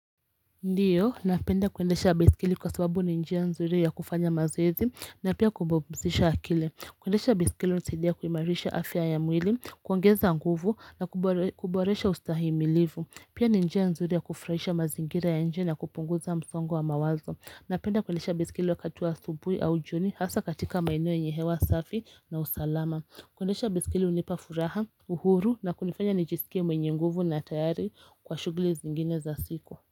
Ndiyo napenda kuendesha baiskeli kwa sababu ni njia nzuri ya kufanya mazoezi na pia kupumzisha akili kuendesha baiskeli hunisaidia kuimarisha afya ya mwili kuongeza nguvu na kuboresha ustahimilivu pia ni njia nzuri ya kufurahisha mazingira ya nje na kupunguza msongo wa mawazo napenda kuendesha baiskeli wakati wa asubui au jioni hasa katika maeneo yenye hewa safi na usalama kuendesha baiskeli hunipa furaha uhuru na kunifanya nijisikie mwenye nguvu na tayari kwa shughuli zingine za siku.